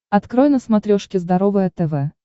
открой на смотрешке здоровое тв